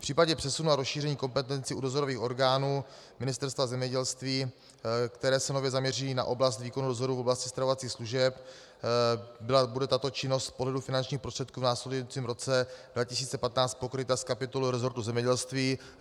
V případě přesunu a rozšíření kompetencí u dozorových orgánů Ministerstva zemědělství, které se nově zaměří na oblast výkonu dozoru v oblasti stravovacích služeb, bude tato činnost z pohledu finančních prostředků v následujícím roce 2015 pokryta z kapitoly resortu zemědělství.